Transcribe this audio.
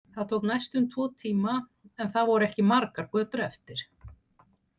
Það tók næstum tvo tíma en það voru ekki margar götur eftir.